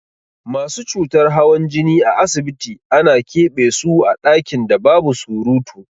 Masu cutar hawan jini a asibiti ana ƙebe so a ɗakin da babu surutu.